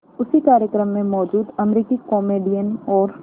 उसी कार्यक्रम में मौजूद अमरीकी कॉमेडियन और